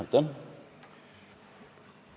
Aitäh!